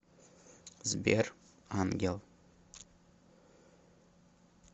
сбер ангел